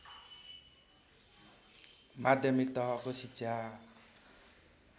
माध्यमिक तहको शिक्षा